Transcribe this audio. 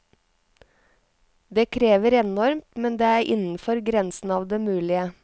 Det krever enormt, men det er innenfor grensen av det mulige.